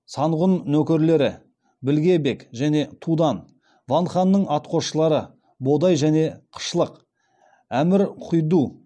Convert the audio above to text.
санғұн нөкерлері білге бек және тудан ван ханның атқосшылары бодай және қышлық әмір құйду